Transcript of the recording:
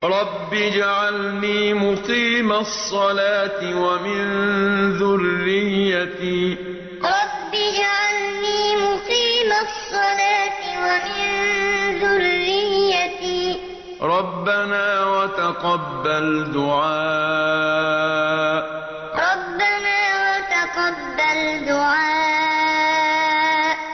رَبِّ اجْعَلْنِي مُقِيمَ الصَّلَاةِ وَمِن ذُرِّيَّتِي ۚ رَبَّنَا وَتَقَبَّلْ دُعَاءِ رَبِّ اجْعَلْنِي مُقِيمَ الصَّلَاةِ وَمِن ذُرِّيَّتِي ۚ رَبَّنَا وَتَقَبَّلْ دُعَاءِ